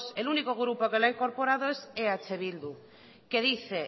el único grupo que la ha incorporado es eh bildu que dice